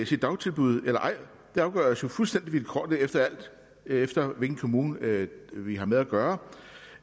sit dagtilbud eller ej afgøres jo fuldstændig vilkårligt alt efter hvilken kommune vi har med at gøre